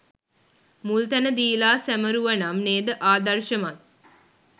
මුල් තැන දීලා සමරුවනම් නේද ආදර්ශමත්.